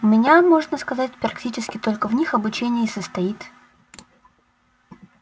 у меня можно сказать практически только в них обучение и состоит